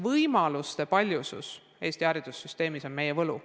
Võimaluste paljusus Eesti haridussüsteemis on meie võlu.